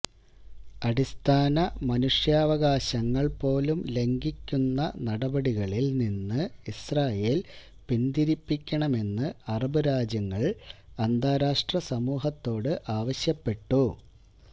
അടിസ്ഥാന മനുഷ്യാവകാശങ്ങള് പോലും ലംഘിക്കുന്ന നടപടികളില് നിന്ന് ഇസ്രായേല് പിന്തിരിപ്പിക്കണമെന്ന് അറബ് രാജ്യങ്ങള് അന്താരാഷ്ട്ര സമൂഹത്തോട് ആവശ്യപ്പെട്ടു